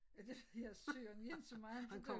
JA det ved jeg sørme ikke så meget om det kunne